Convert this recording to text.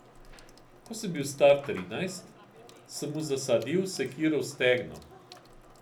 Ko sem bil star trinajst, sem mu zasadil sekiro v stegno.